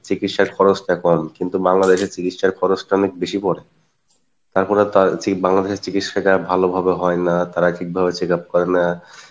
সেখানে চিকিৎসার খরচ টা কম, কিন্তু বাংলাদেশে চিকিৎসার খরচ টা অনেক বেশি পরে তারপরে তার যেই বাংলাদশের চিকিৎসাটা ভালো ভাবে হয়না তারা ঠিক ভাবে check up করে না,